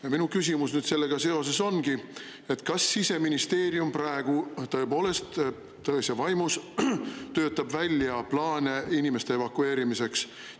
Ja minu küsimus nüüd sellega seoses ongi, et kas Siseministeerium praegu tõepoolest tões ja vaimus töötab välja plaane inimeste evakueerimiseks.